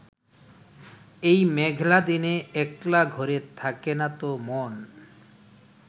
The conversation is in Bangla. এই মেঘলা দিনে একলা ঘরে থাকে না তো মন